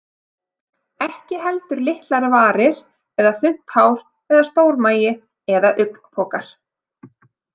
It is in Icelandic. Ekki heldur litlar varir eða þunnt hár eða stór magi eða augnpokar.